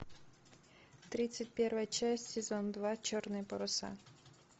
тридцать первая часть сезон два черные паруса